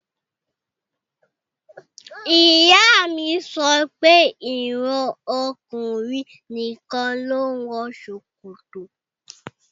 Ìyá mi sọ pé ìran ọkùnrin nìkan ló ń wọ ṣòkòtò